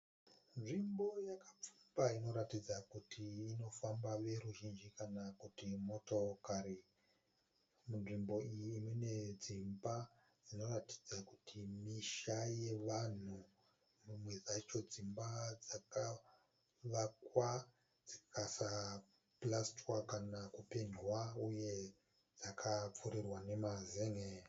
Nzvimbo yakapfumba inoratidza kuti inofambwa neveruzhinji kana kuti motokari. Munzvimbo iyi mune dzimba dzinoratidza kuti misha yevanhu. Dzimwe dzacho dzimba dzakavakwa dzikasapurasitiwa kana kupendwa uye dzakapfurirwa nemazen'e.